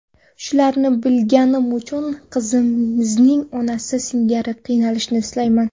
Shularni bilganim uchun qizimning onasi singari qiynalishini istamayman.